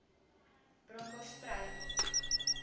bronkhorspruit